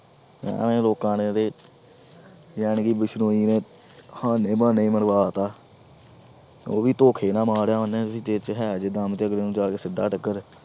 ਲੋਕਾਂ ਨੇ ਇਹਦੇ ਜਾਣੀ ਕਿ ਬਿਸਨੋਈ ਨੇ ਹਾਨੇ ਬਹਾਨੇ ਹੀ ਮਰਵਾ ਦਿੱਤਾ ਉਹ ਵੀ ਧੋਖੇ ਨਾਲ ਮਾਰਿਆ ਉਹਨੇ ਵੀ, ਤੇਰੇ 'ਚ ਹੈ ਜੇ ਦਮ ਤੇ ਅਗਲੇ ਨੂੰ ਜਾ ਕੇ ਸਿੱਧਾ ਟੱਕਰ।